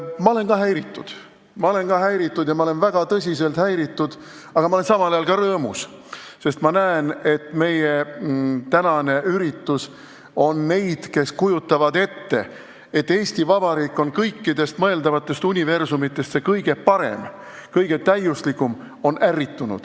Mina olen ka häiritud ja ma olen väga tõsiselt häiritud, aga ma olen samal ajal ka rõõmus, sest ma näen, et meie tänane üritus on ärritanud neid, kes kujutavad ette, et Eesti Vabariik on kõikidest mõeldavatest universumitest see kõige parem, kõige täiuslikum.